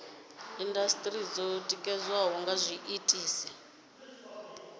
indasiteri dzo ditikaho nga zwiko